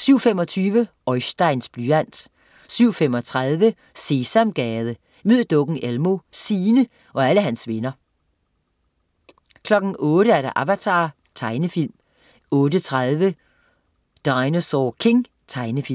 07.25 Oisteins blyant 07.35 Sesamgade. Mød dukken Elmo, Signe og alle hans venner 08.00 Avatar. Tegnefilm 08.30 Dinosaur King. Tegnefilm